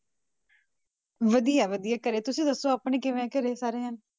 ਵਧੀਆ ਵਧੀਆ ਘਰੇ ਤੁਸੀਂ ਦੱਸੋ ਆਪਣੀ ਕਿਵੇਂ ਆਂ ਘਰੇ ਸਾਰੇ ਹੈਂ।